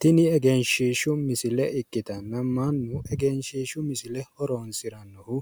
Tini egenshiishshu misile ikkitanna mannu egenshiishshu misile horoonsirannohu